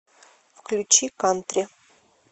включи кантри